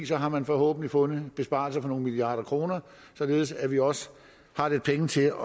så har man forhåbentlig fundet besparelser på nogle milliarder kroner således at vi også har lidt penge til at